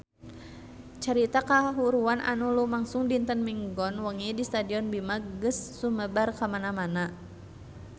Carita kahuruan anu lumangsung dinten Minggon wengi di Stadion Bima geus sumebar kamana-mana